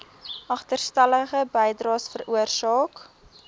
agterstallige bydraes veroorsaak